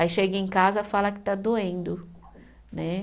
Aí chega em casa e fala que está doendo né.